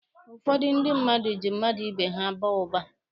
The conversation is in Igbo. Ụfọdụ ndị mmadụ ji mmadụ ibe ha baa ụba.